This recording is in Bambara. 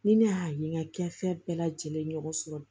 Ni ne y'a ye n ka gafe bɛɛ lajɛlen ɲɔgɔn sɔrɔ